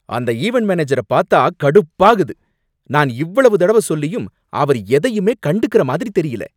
அந்த ஈவென்ட் மேனேஜர பாத்தா கடுப்பாகுது. நான் இவ்வளவு தடவ சொல்லியும் அவரு எதையுமே கண்டுக்கற மாதிரி தெரியல.